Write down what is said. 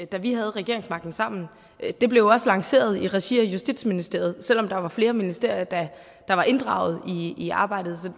da vi havde regeringsmagten sammen det blev også lanceret i regi af justitsministeriet selv om der var flere ministerier der var inddraget i i arbejdet